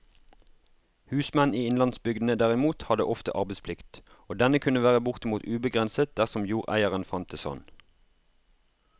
Husmenn i innlandsbygdene derimot hadde ofte arbeidsplikt, og denne kunne være bortimot ubegrenset dersom jordeieren fant det sånn.